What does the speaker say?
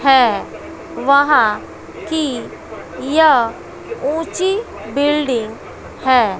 है वहां की यह ऊंची बिल्डिंग है।